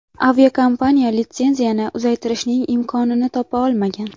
Aviakompaniya litsenziyani uzaytirishning imkonini topa olmagan.